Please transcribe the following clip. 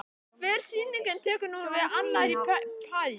Hver sýningin tekur nú við af annarri- Í París